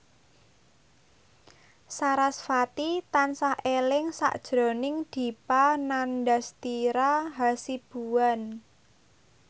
sarasvati tansah eling sakjroning Dipa Nandastyra Hasibuan